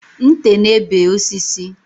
Nte na-ebe osisi